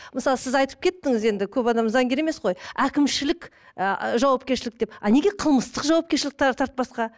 мысалы сіз айтып кеттіңіз енді көп адам заңгер емес қой әкімшілік ы жауапкершілік деп а неге қылмыстық жауапкершілік тартпасқа